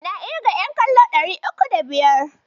Na ƙirga ƴan kallo ɗari uku da biyar.